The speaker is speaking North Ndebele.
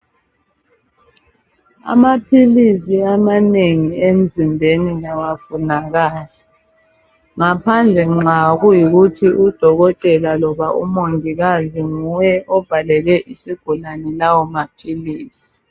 Amaphilisi amanengi emzimbeni awafunakali ngaphandle nxa kuyikuthi udokotela loba umongikazi nguye obhalele isigulane lawo maphilisi.